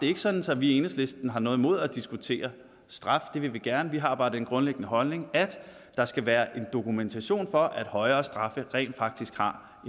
er sådan at vi i enhedslisten har noget imod at diskutere straf det vil vi gerne vi har bare den grundlæggende holdning at der skal være dokumentation for at højere straffe rent faktisk har